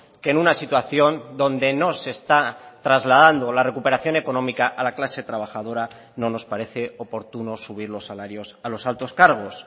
que en una situación donde no se está trasladando la recuperación económica a la clase trabajadora no nos parece oportuno subir los salarios a los altos cargos